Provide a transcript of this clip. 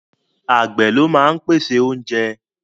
Àgbẹ̀ ló máa ń pèsè oúnjẹ